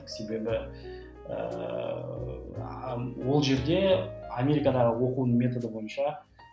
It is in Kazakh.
себебі ііі ол жерде америкадағы оқу методы бойынша